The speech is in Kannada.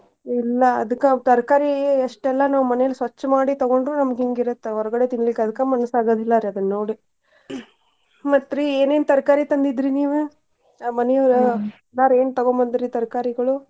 ಇಲ್ಲಾ ಅದಕ್ಕ ತರಕಾರಿ ಎಷ್ಟೆಲ್ಲಾ ನಾವ್ ಮನೇಲಿ ಸ್ವಚ್ಛ್ ಮಾಡಿ ತಗೊಂಡ್ರು ನಮ್ಗ್ ಹಿಂಗ್ ಇರತ್ತ ಹೊರಗಡೆ ತಿನ್ಲಿಕ್ ಅದಕ್ಕ ಮನಸಗಂಗಿಲ್ಲಾರೀ ಅದನ್ನ್ ನೋಡಿ. ಮತ್ರಿ ಏನೇನ್ ತರಕಾರಿ ತಂದಿದ್ರಿ ನೀವ್ ಆ ಬ್ಯಾರೆ ಏನ್ ತಗೊಂಡ್ ಬಂದ್ರ್ ರೀ ತರಕಾರಿಗಳು?